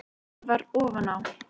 Það varð ofan á.